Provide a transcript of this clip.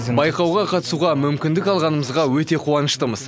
байқауға қатысуға мүмкіндік алғанымызға өте қуаныштымыз